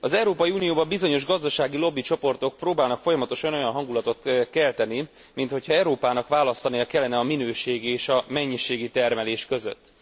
Az Európai Unióban bizonyos gazdasági lobbicsoportok próbálnak folyamatosan olyan hangulatot kelteni, mint hogyha Európának választania kellene a minőségi és a mennyiségi termelés között.